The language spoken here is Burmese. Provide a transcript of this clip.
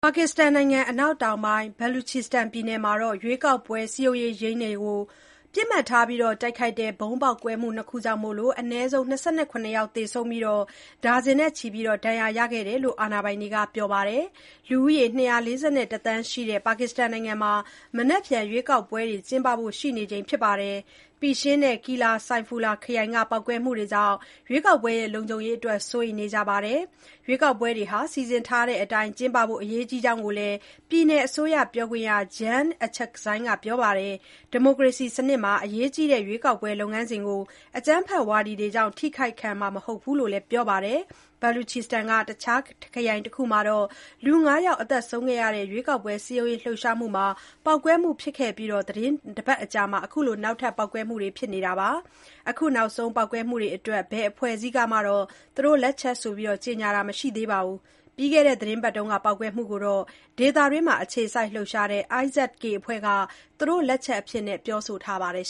ပါကစ္စတန်နိုင်ငံ အနောက်တောင်ပိုင်း Baluchistan ပြည်နယ်မှာ ရွေးကောက်ပွဲ စည်းရုံးရေးရုံးတွေကို ပစ်မှတ်ထား တိုက်ခိုက်တဲ့ ဗုံးပေါက်ကွဲမှု ၂ ခုကြောင့် အနည်းဆုံး ၂၇ ယောက် သေဆုံးပြီး၊ ဒါဇင်နဲ့ချီ ဒဏ်ရာရခဲ့ကြောင်း အာဏာပိုင်တွေက ပြောပါတယ်။ လူဦးရေ ၂၄၁ သန်းရှိတဲ့ ပါကစ္စတန်နိုင်ငံမှာ မနက်ဖြန် ရွေးကောက်ပွဲတွေ ကျင်းပဖို့ ရှိနေချိန်မှာ Pishin နဲ့ Qilla Saifullah ခရိုင်က ပေါက်ကွဲမှုတွေကြောင့် လုံခြုံရေးအတွက် စိုးရိမ်နေကြတာပါ။ ရွေးကောက်ပွဲတွေ စီစဉ်ထားတဲ့အတိုင်း ကျင်းပဖို့ အရေးကြီးကြောင်းလည်း ပြည်နယ်အစိုးရပြောခွင့်ရ Jan Achakzai ကပြောပါတယ်။ ဒီမိုကရေစီစနစ်မှာ အရေးကြီးတဲ့ ရွေးကောက်ပွဲ လုပ်ငန်းစဉ်ကို အကြမ်းဖက်ဝါဒီတွေကြောင့် ထိခိုက်ခံနိုင်မှာ မဟုတ်ဘူးလို့လည်း ပြောပါတယ်။ Baluchistan က တခြားခရိုင်တခုမှာ လူ ၅ ယောက် သေဆုံးခဲ့တဲ့ ရွေးကောက်ပွဲစည်းရုံးရေးလှုပ်ရှားမှုမှာ ပေါက်ကွဲမှုဖြစ်ခဲ့အပြီး သီတင်းတပတ် အကြာမှာ အခုနောက်ထပ် ပေါက်ကွဲမှုတွေ ဖြစ်ခဲ့တာပါ။ အခုနောက်ဆုံး ပေါက်ကွဲမှုတွေအတွက် ဘယ်အဖွဲ့အစည်းကမှ သူတို့လက်ချက်ဆိုပြီး ကြေညာတာ မရှိပေမဲ့ ပြီးခဲ့တဲ့သီတင်းပတ်က ပေါက်ကွဲမှုကိုတော့ ဒေသတွင်းမှာ အခြေစိုက်လှုပ်ရှားနေတဲ့ IS-K အဖွဲ့က သူတို့လက်ချက်အဖြစ် ပြောဆိုထားပါတယ်